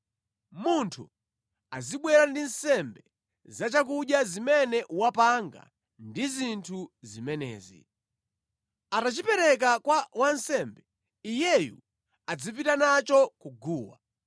Munthu azibwera ndi nsembe za chakudya zimene wapanga ndi zinthu zimenezi. Atachipereka kwa wansembe, iyeyu adzipita nacho ku guwa.